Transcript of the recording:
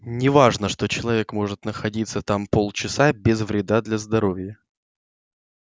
не важно что человек может находиться там полчаса без вреда для здоровья